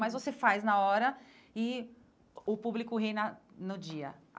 Mas você faz na hora e o público ri na no dia.